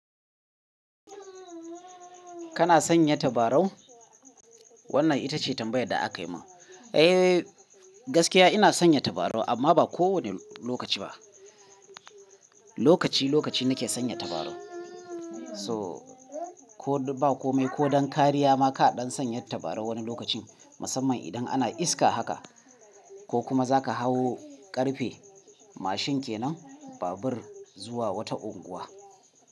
Kana sanya tabarau? Wannan ita ce tambayar da aka yi min. Eh gaskiya ina sanya tabarau amma ba kowane lokaci ba. Lokaci lokaci nake sanya tabarau. So ko ba kome ko don kariya ma kaɗan sanya tabarau wani lokacin musamman idan ana iska haka ko kuma za ka hau ƙarfe mashin kenan babur zuwa wata unguwa.